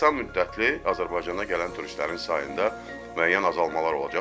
Qısa müddətli Azərbaycana gələn turistlərin sayında müəyyən azalmalar olacaq.